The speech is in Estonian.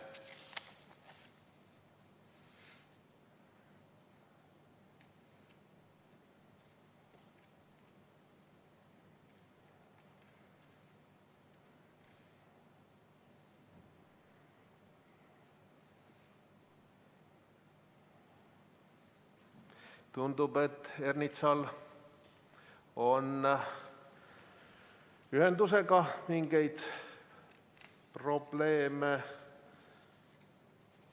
Tundub, et Ernitsal on ühendusega probleeme.